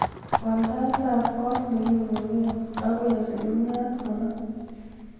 Wal taitab kot nekimungee akoi asilimiait konom